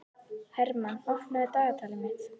Hermann, opnaðu dagatalið mitt.